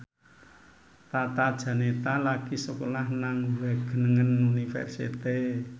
Tata Janeta lagi sekolah nang Wageningen University